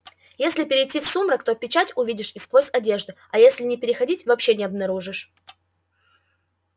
если перейти в сумрак то печать увидишь и сквозь одежду а если не переходить вообще не обнаружишь